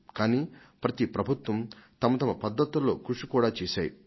కానీ ప్రతి ప్రభుత్వం తనదైన పద్ధతుల్లో కృషి చేసింది కూడా